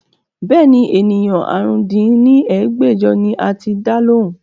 Bẹ́ẹ̀ni, ènìyàn àrún dín ní ẹgbẹ́jọ ni a ti dá lóhùn